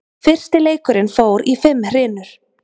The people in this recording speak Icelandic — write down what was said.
Fyrsti leikurinn fór í fimm hrinur